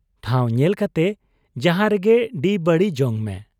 ᱴᱷᱟᱶ ᱧᱮᱞ ᱠᱟᱛᱮ ᱡᱟᱦᱟᱸ ᱨᱮᱜᱮ ᱰᱤᱵᱟᱹᱲᱤ ᱡᱚᱝᱢᱮ ᱾